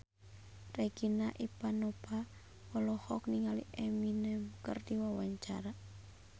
Regina Ivanova olohok ningali Eminem keur diwawancara